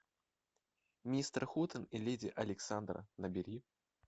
мистер хутен и леди александра набери